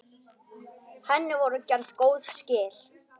Henni voru gerð góð skil.